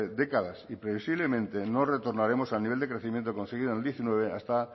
décadas y previsiblemente no retornaremos al nivel de crecimiento conseguido en el diecinueve hasta